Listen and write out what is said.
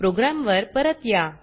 programme वर परत या